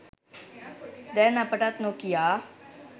දැන් අපටත් නොකියා